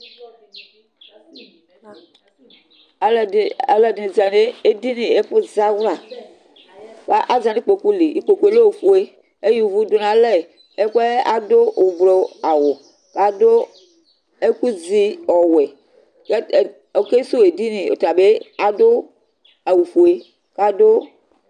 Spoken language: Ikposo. Alʋɛdi zanʋ edini ɛfʋ zawla bʋa azanʋ ikpokʋli, ikpokʋe lɛ ofue, eya ʋvʋ dʋnʋ alɛ kʋ adʋ ʋblʋ awʋ, kʋ adʋ ɛkʋzi ɔwɛ, kʋ ɔkesʋwʋ edini ɔtabi adʋ awʋfue kʋ adʋ